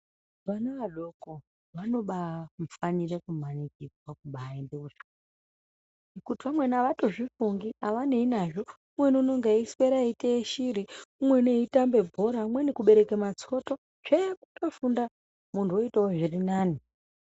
Vana adoko vanobafanire kumanikidzwa kubaende kuzvikora, kuti vamweni havatozvifungi havanei nazvo. Umweni unenga eyiswera eiteye shiri, umweni eitambe bhora, umweni kubereke matsoto tsvee kundofunda muntu oitawo zviri nani.